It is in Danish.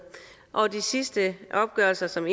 og de sidste opgørelser som